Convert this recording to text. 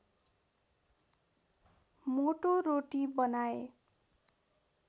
मोटो रोटी बनाए